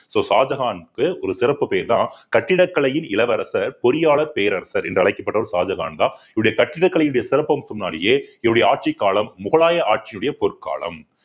so ஷாஜகானுக்கு ஒரு சிறப்பு பெயர்தான் கட்டிடக்கலையின் இளவரசர் பொறியாளர் பேரரசர் என்று அழைக்கப்பட்ட ஒரு ஷாஜகான்தான் இவருடைய கட்டிடக்கலையினுடைய சிறப்பம்சம் முன்னாடியே இவருடைய ஆட்சிக் காலம் முகலாய ஆட்சியினுடைய பொற்காலம்